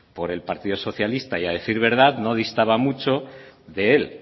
por el partido socialista y a decir verdad no distaba mucho de él